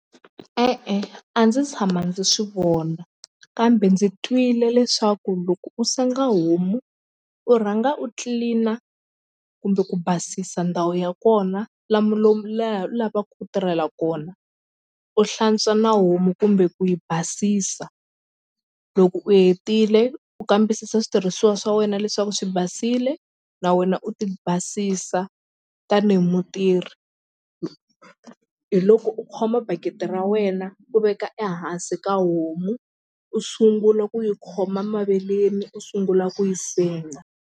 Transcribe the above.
E-e a ndzi tshama ndzi swi vona kambe ndzi twile leswaku loko u senga homu u rhanga u clean-a kumbe ku basisa ndhawu ya kona laha u lavaku ku tirhela kona u hlantswa na homu kumbe ku yi basisa loko u hetile u kambisisa switirhisiwa swa wena leswaku swi basile na wena u ti basisa tanihi mutirhi hi loko u khoma bakiti ra wena ku veka ehansi ka homu u sungula ku yi khoma maveleni u sungula ku yi senga.